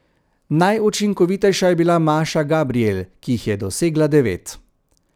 Najučinkovitejša je bila Maša Gabrijel, ki jih je dosegla devet.